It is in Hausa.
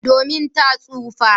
Domin ta tsufa.